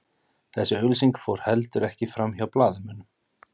Þessi auglýsing fór heldur ekki framhjá blaðamönnum